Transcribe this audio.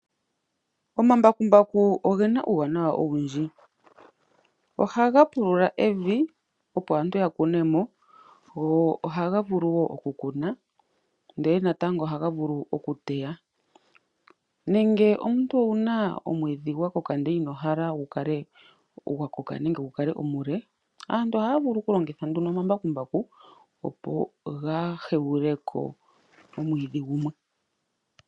Omambakumbaku ogena uuwanawa owundji, ohaga pulula evi, opo aantu ya kune mo, go ohaga vulu wooku kuna, ndele natango ohaga vulu oku teya nenge omuntu owuna omwiidhi gwa koka ndele ino hala gu kale gwa koka nenge gu kale omule, aantu ohaya vulu oku longitha nduno omambakumbaku, opo ga hegule ko omwiidhi gumwe.